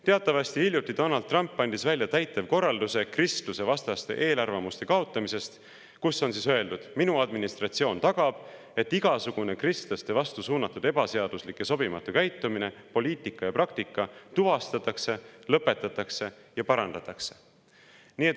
Teatavasti andis Donald Trump hiljuti välja täitevkorralduse kristlusevastaste eelarvamuste kaotamise kohta, kus on öeldud, et tema administratsioon tagab, et igasugune kristlaste vastu suunatud ebaseaduslik ja sobimatu käitumine, poliitika ja praktika tuvastatakse ja lõpetatakse ning seda parandatakse.